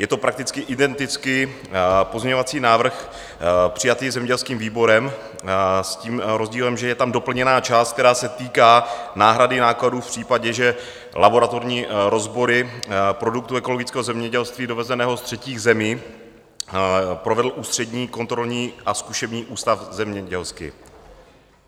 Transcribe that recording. Je to prakticky identický pozměňovací návrh přijatý zemědělským výborem s tím rozdílem, že je tam doplněná část, která se týká náhrady nákladů v případě, že laboratorní rozbory produktů ekologického zemědělství dovezeného z třetích zemí provedl Ústřední kontrolní a zkušební ústav zemědělský.